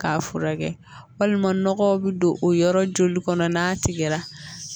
K'a furakɛ walima nɔgɔw bɛ don o yɔrɔ joli kɔnɔ n'a tigɛra